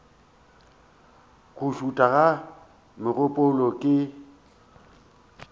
go šutha ga megopolo ke